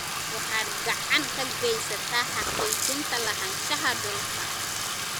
Waxaad gacan ka geysataa xaqiijinta lahaanshaha dhulka.